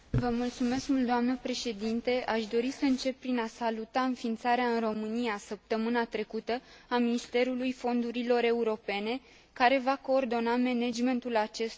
Aș dori să încep prin a saluta înființarea în România săptămâna trecută a Ministerului Fondurilor Europene, care va coordona managementul acestora în aparatul administrativ.